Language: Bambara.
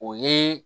O ye